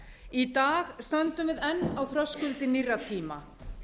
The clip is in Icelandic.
í dag stöndum við enn á þröskuldi nýrra tíma